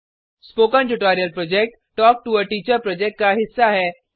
spoken tutorial project talk to a teacher project का हिस्सा है